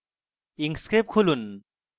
inkscape খুলুন